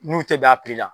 N'u tɛ bɛn a la